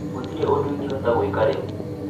Gũtirĩ ũndũ ingĩhota gwĩka rĩu